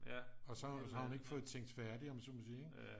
Og så har hun ikke fået tænkt færdig om man så må sige ikke